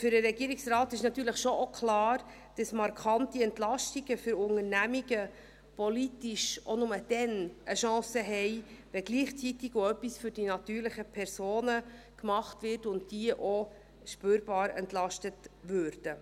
Für den Regierungsrat ist natürlich schon auch klar, dass markante Entlastungen für Unternehmungen politisch auch nur dann eine Chance haben, wenn gleichzeitig auch etwas für die natürlichen Personen getan wird und diese auch spürbar entlastet würden.